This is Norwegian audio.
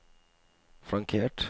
flankert